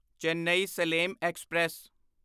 Chennai Salem express